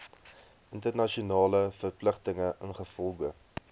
internasionale verpligtinge ingevolge